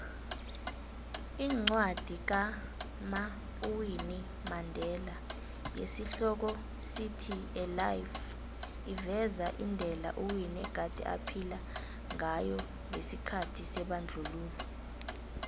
iincwadi kama uwinnui mandela yesi hloko sithi a life iveza indela uwinnie egade aphila ngayongesikhathi sebandlululo